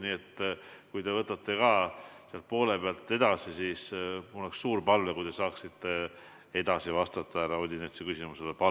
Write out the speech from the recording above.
Nii et kui te võtate sealt poole pealt edasi, siis mul oleks suur palve, et te saaksite edasi härra Odinetsi küsimusele vastata.